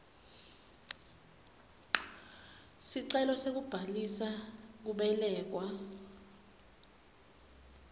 sicelo sekubhalisa kubelekwa